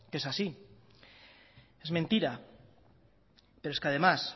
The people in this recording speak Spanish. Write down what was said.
que es así es mentira pero es que además